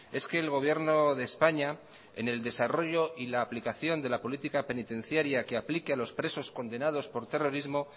es que el gobierno de españa en el desarrollo y la aplicación de la política penitenciaria que aplique a los presos condenados por terrorismo